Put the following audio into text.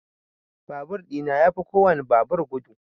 Babur ɗina yafi kowan babur gudu.